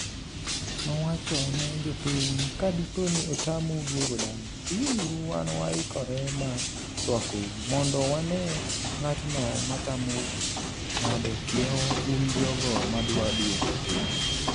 nowacho ne jopiny" ka dipo ni otamu duogo dala, bii uru wan waikore mar rwakou, mondo wane ng'atno matamou ng'ado kiewo un jogo madwa duogo thurgi"